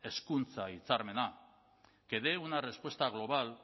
hezkuntza hitzarmena que dé una respuesta global